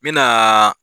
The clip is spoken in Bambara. N me naa